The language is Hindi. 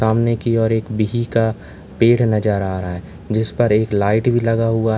सामने की ओर एक बिही का पेड़ नजर आ रहा है जिस पर एक लाइट भी लगा हुआ है।